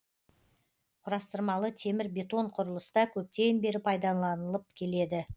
құрастырмалы темір бетон құрылыста көптен бері пайдаланылып келеді